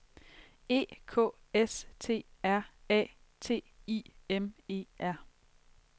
E K S T R A T I M E R